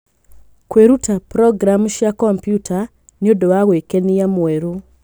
Kwĩruta programu cia kompiuta nĩ ũndũ wa gwĩkenia mwerũ.